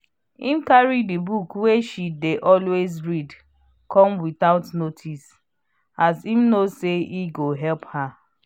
im carry the book wey she dey always read come without notice as im know say e go help her